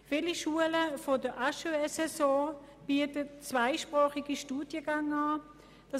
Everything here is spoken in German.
Viele Schulen der HES-SO bieten zweisprachige Studiengänge an.